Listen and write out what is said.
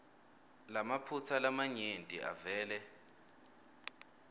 lamaphutsa lamanyenti avele